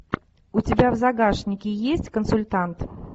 у тебя в загашнике есть консультант